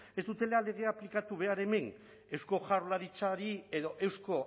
ez dutela legea aplikatu behar hemen eusko jaurlaritzari edo eusko